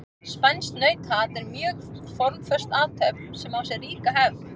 Spænskt nautaat er mjög formföst athöfn sem á sér ríka hefð.